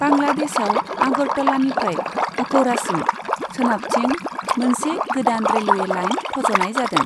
बांलादेशआव आगरतलानिफ्राय अखौरासिम सोनाबथिं मोनसे गोदान रेलवे लाइन फज'नाय जादों।